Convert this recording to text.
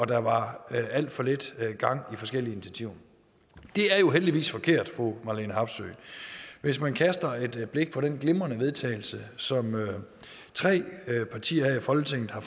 der var alt for lidt gang i forskellige initiativer det er jo heldigvis forkert fru marlene harpsøe hvis man kaster et blik på det glimrende vedtagelse som tre partier her i folketinget har